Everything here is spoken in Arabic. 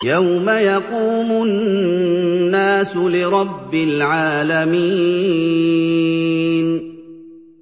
يَوْمَ يَقُومُ النَّاسُ لِرَبِّ الْعَالَمِينَ